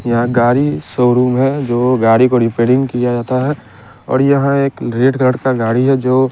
यहाँ गाड़ी शोरूम है जो गाड़ी को ड़िपेयड़िंग रेपेयरिंग किया जाता है और यहाँ एक रेड कलर का गाड़ी है जो--